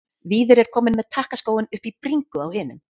Víðir er kominn með takkaskóinn upp í bringu á hinum.